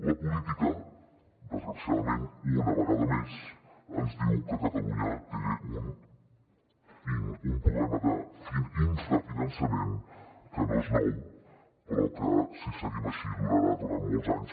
la política desgraciadament una vegada més ens diu que catalunya té un problema d’infrafinançament que no és nou però que si seguim així durarà durant molts anys